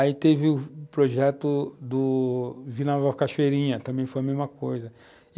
Aí teve o projeto do Vila Nova Cachoeirinha, também foi a mesma coisa.